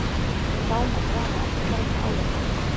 Þá má draga eftirfarandi ályktanir: